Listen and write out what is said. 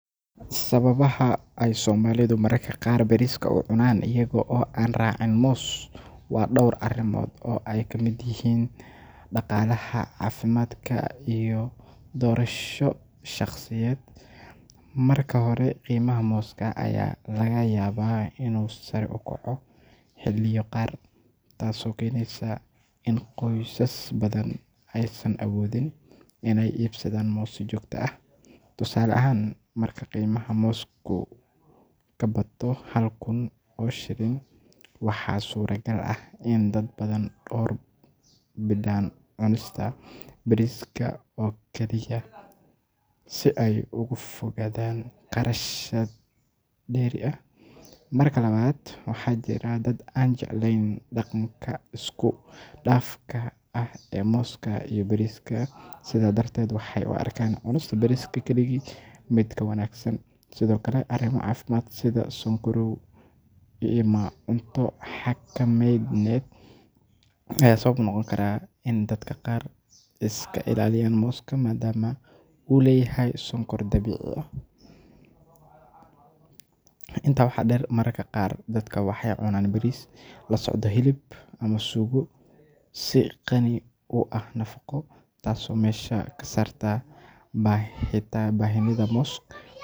Sababaha ay Soomaalidu mararka qaar bariiska u cunaan iyaga oo aan raacin moos waa dhowr arrimood oo ay ka mid yihiin dhaqaalaha, caafimaadka, iyo doorasho shakhsiyadeed. Marka hore, qiimaha mooska ayaa laga yaabaa inuu sare u kaco xilliyo qaar, taasoo keenaysa in qoysas badan aysan awoodin inay iibsadaan moos si joogto ah. Tusaale ahaan, marka qiimaha moosku ka bato hal kun oo shilin, waxaa suuragal ah in dad badan door bidaan cunista bariiska oo kaliya si ay uga fogaadaan kharashaad dheeri ah. Marka labaad, waxaa jira dad aan jeclayn dhadhanka isku dhafka ah ee mooska iyo bariiska, sidaas darteed waxay u arkaan cunista bariiska keligii mid ka wanaagsan. Sidoo kale, arrimo caafimaad sida sonkorow ama cunto xakamayneed ayaa sabab u noqon kara in dadka qaar iska ilaaliyaan mooska maadaama uu leeyahay sonkor dabiici ah. Intaa waxaa dheer, mararka qaar dadka waxay cunaan bariis la socda hilib ama suugo si qani ku ah nafaqo, taasoo meesha ka saarta baahida moos.